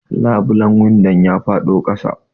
Labulen windon ya faɗo ƙasa.